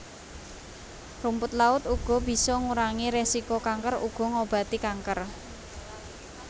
Rumput laut uga bisa ngurangi resiko kanker uga ngobati kanker